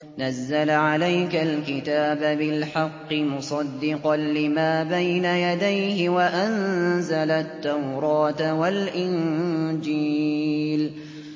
نَزَّلَ عَلَيْكَ الْكِتَابَ بِالْحَقِّ مُصَدِّقًا لِّمَا بَيْنَ يَدَيْهِ وَأَنزَلَ التَّوْرَاةَ وَالْإِنجِيلَ